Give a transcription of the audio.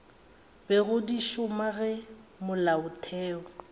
bego di šoma ge molaotheo